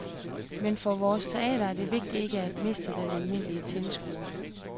Men for vores teater er det vigtigt ikke at miste den almindelige tilskuer.